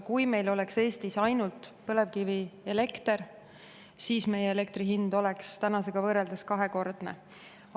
Kui meil oleks Eestis ainult põlevkivielekter, siis meie elektrihind oleks tänasega võrreldes kahekordne.